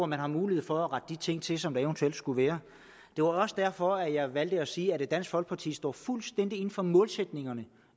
man har mulighed for at rette de ting til som der eventuelt kunne være det var også derfor at jeg valgte at sige at dansk folkeparti står fuldstændig inde for målsætningerne